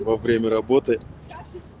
во время работы